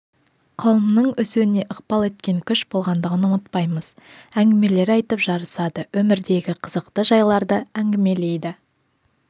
қауымның өсуіне ықпал еткен күш болғандығын ұмытпаймыз әңгімелер айтып жарысады өмірдегі қызықты жайларды әңгімелейді